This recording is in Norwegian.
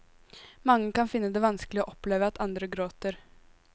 Mange kan finne det vanskelig å oppleve at andre gråter.